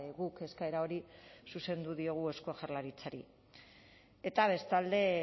guk eskaera hori zuzendu diogu eusko jaurlaritzari eta bestalde